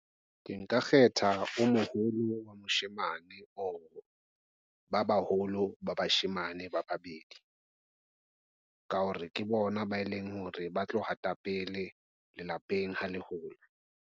Ke nka kgetha o moholo wa moshemane o ba baholo ba bashemane ba babedi ka hore ke bona ba e leng hore ba tlo hata pele lelapeng ha le hola.